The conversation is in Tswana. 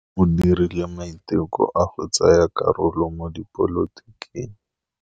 O dirile maitekô a go tsaya karolo mo dipolotiking.